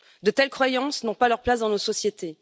De telles croyances n'ont pas leur place dans nos sociétés.